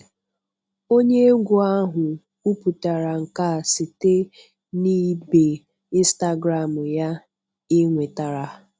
Onye egwu ahụ kwuputara nke a site na ibe Instagram ya enwetara.